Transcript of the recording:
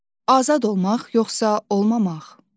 Azad olmaq, yoxsa olmamaq?